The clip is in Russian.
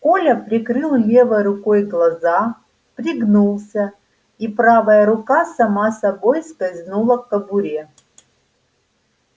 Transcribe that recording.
коля прикрыл левой рукой глаза пригнулся и правая рука сама собой скользнула к кобуре